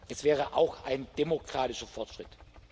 Es wäre auch ein demokratischer Fortschritt.